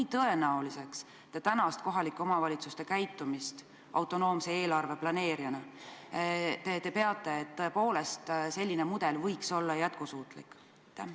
Kui tõenäoliseks te tänast kohalike omavalitsuste käitumist autonoomse eelarve planeerijana peate, et selline mudel võiks tõepoolest olla jätkusuutlik?